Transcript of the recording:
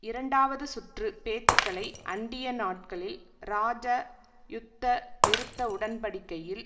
இரண்டாவது சுற்று பேச்சுக்களை அண்டிய நாட்களில் இராஜ யுத்த நிறுத்த உடன்படிக்கையில்